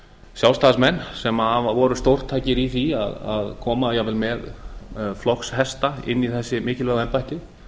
sjálfstæðismenn sem voru stórtækir í að koma jafnvel með flokkshesta inn í þessi mikilvægu embætti